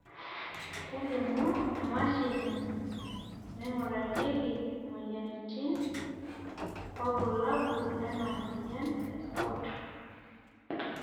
kelimu emashini naingurarieki imoyiaritin irbulabol lena moyian e SCOT